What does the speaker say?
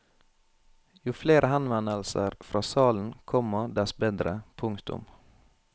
Jo flere henvendelser fra salen, komma dess bedre. punktum